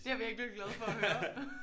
Det er jeg virkelig glad for at høre